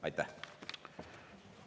Aitäh!